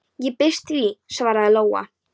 Ég býst við því, svaraði Lóa.